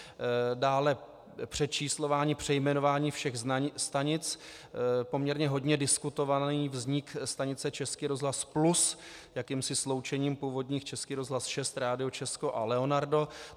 Dále přečíslování, přejmenování všech stanic, poměrně hodně diskutovaný vznik stanice Český rozhlas Plus jakýmsi sloučením původních Český rozhlas 6, Rádio Česko a Leonardo.